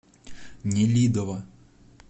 нелидово